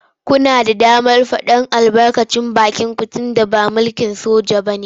Kuna da damar faɗar albarkacin bakinku tunda ba mulkin soja ba ne.